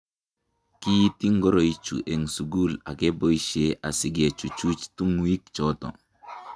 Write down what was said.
kiiti ngoroik chu eng' sukul ak kapboisie asike chuchuch tunguik choto